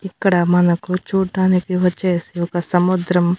ఇక్కడ మనకు చూడ్డానికి వచ్చేసి ఒక సముద్రం --